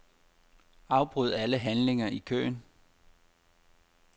Afbryd alle handlinger i køen.